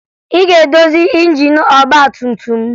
Ị ga-edozi injin ọgbatumtum m!